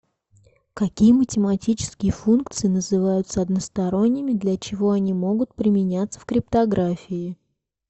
какие математические функции называются односторонними для чего они могут применяться в криптографии